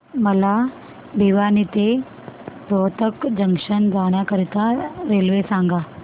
मला भिवानी ते रोहतक जंक्शन जाण्या करीता रेल्वे सांगा